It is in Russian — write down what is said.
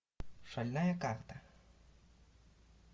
шальная карта